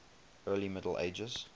early middle ages